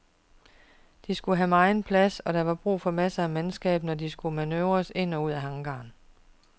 De skulle have megen plads, og der var brug for masser af mandskab, når de skulle manøvreres ind og ud af hangaren.